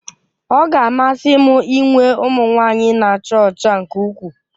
Ọ ga-amasị m inwe ụmụ nwanyị na-acha ọcha nke ukwuu